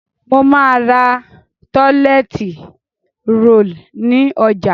Mo má ra toilet roll ni ojà